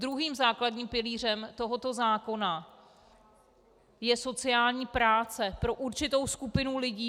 Druhým základním pilířem tohoto zákona je sociální práce pro určitou skupinu lidí.